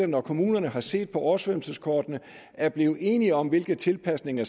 når kommunerne har set på oversvømmelseskortene og er blevet enige om hvilke tilpasninger